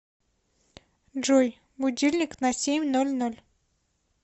джой будильник на семь ноль ноль